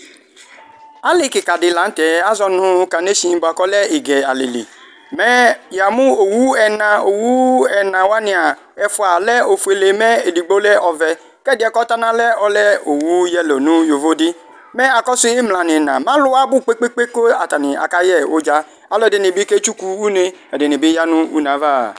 Ali kikadi lanʋ tɛ azɔnʋ kaneshin bʊakʋ ɔlɛ igɛ alili mɛ yamʋ owu ɛna Owʋ ɛna wania ɛfʋa lɛ ofuele mɛ edigbo lɛ ɔvɛ kʋ ɛdi yɛ kʋ ɔtɔnʋ alɔ yɛ lɛ owʋ yelo nʋ yovidi mɛ akasʋ imla nʋ iina alʋwa abʋ kpe kpe kpe kʋ akayɛ ʋdza alʋɛdini bi kevtsuku une ɛdini bi yanʋ ʋne ava